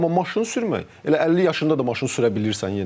Amma maşın sürmək elə 50 yaşında da maşın sürə bilirsən yenə də.